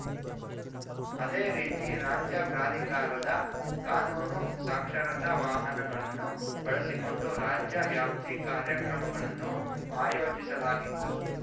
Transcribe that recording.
ಅದೇ ರೀತಿ ರಾಜ್ಯ ಪ್ರಾಧಿಕಾರದ ಕಾನೂನು ಸಾಕ್ಷರತಾ ವಾಹನಗಳನ್ನು ಬಳಸಿಕೊಂಡು ರಾಜ್ಯ ವ್ಯಾಪ್ತಿ ಕಾರ್ಯಕ್ರಮಗಳನ್ನು ಆಯೋಜಿಸಲಾಗಿದ್ದು